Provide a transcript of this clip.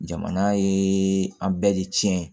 Jamana ye an bɛɛ de tiɲɛ